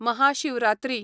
Mahashivratri